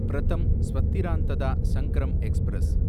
பிரதம் ஸ்வத்திராந்ததா சங்கிரம் எக்ஸ்பிரஸ்